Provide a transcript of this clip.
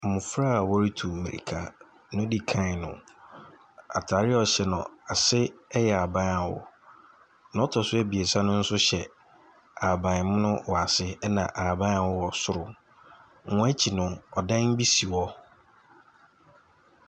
Mbofra a wɔretu mirika, deɛ odi kan no, ataare a ɔhyɛ no, ase yɛ haban a awo, deɛ ɔtɔ so abiesa no so hyɛ ahabanmono wɔ ase, na ahaban a awo wɔ soro. Wɔn akyi no, dan bi si.